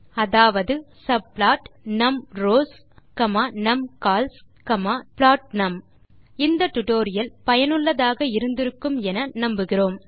அதாவது subplotnumrowsnumcolsபுளோட்னம் இந்த டியூட்டோரியல் பயனுள்ளதாக இருக்கும் என்று நினைக்கிறோம்